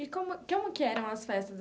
E como como que eram as festas?